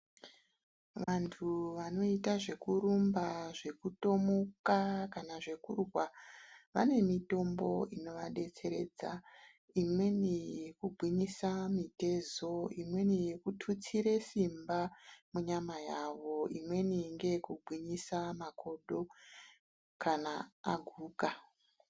Vantu vanoita zvekurumba, zvekutomuka kana zvekurwa vane mitombo inovadetseredza. Imweni yekugwinyisa mitezo, imweni yekututsire simba munyama yavo, imweni ngeyekugwinyisa makodo kana aguka.